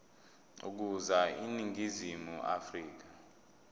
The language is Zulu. ukuza eningizimu afrika